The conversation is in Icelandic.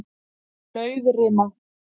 Laufrima